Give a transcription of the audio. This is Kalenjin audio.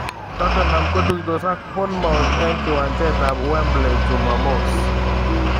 Tottenham kotuitos ak Bournemouth eng kiwanjet ab Wembley chumamos.